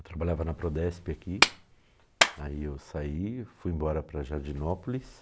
Eu trabalhava na Prodesp aqui, aí eu saí, fui embora para Jardinópolis.